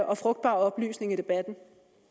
og frugtbar oplysning i debatten